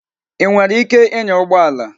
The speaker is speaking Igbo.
Ị nwere ike ịnya ụgbọ ala?